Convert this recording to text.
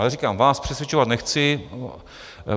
Ale říkám, vás přesvědčovat nechci.